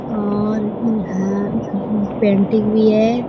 और इहाँ पेंटिंग भी है।